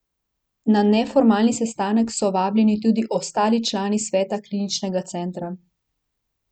Na neformalni sestanek so vabljeni tudi ostali člani sveta kliničnega centra.